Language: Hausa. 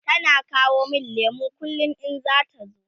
tana kawo min lemu kullum in zata zo